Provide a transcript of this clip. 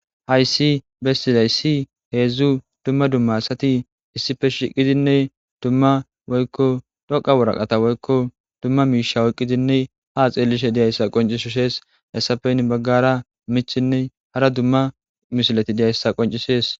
Hayssi bestizay si heedzdzu dumma dumma asati issife shiqidinne dumma woykko dhoqa woraqata woykko dumma miisha woyqqidinne ha xeellishe diyayssa qoncishushees hessafeyn baggara michinne hara dumma mishilati diyayssa qoncishees.